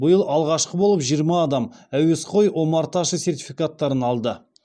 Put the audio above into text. биыл алғашқы болып жиырма адам әуесқой омарташы сертификаттарын алды